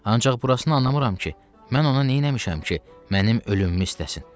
Ancaq burasını anlamıram ki, mən ona nə eləmişəm ki, mənim ölümümü istəsin.